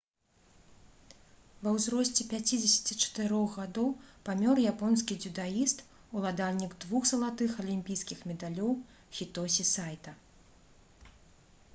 ва ўзросце 54 гадоў памёр японскі дзюдаіст уладальнік двух залатых алімпійскіх медалёў хітосі сайта